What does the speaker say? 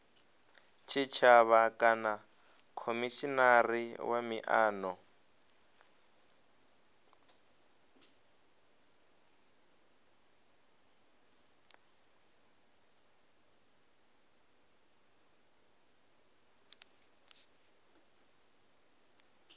tshitshavha kana khomishinari wa miano